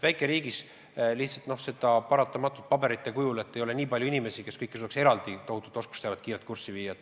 Väikeriigis lihtsalt paratamatult ei ole nii palju inimesi, kes suudaks kiirelt end selle tohutu oskusteabega kurssi viia.